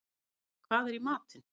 Árney, hvað er í matinn?